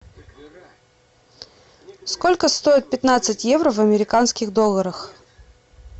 сколько стоит пятнадцать евро в американских долларах